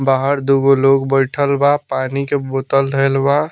बाहर दुगो लोग बइठल बा पानी के बोतल धइल बा।